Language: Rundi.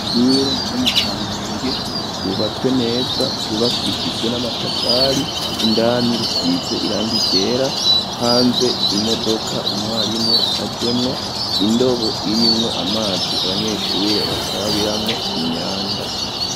Ishure ryo mu Kamenge ryubatswe neza ryubakishijwe n'amatafari, indani risize irangi ryera ,hanze imodoka umwarimu yajemwo, indobo irimwo amazi abanyeshure bakarabiramwo imyanda.